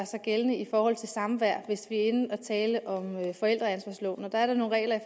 sig gældende i forhold til samvær hvis vi er inde at tale om forældreansvarsloven der er der nogle regler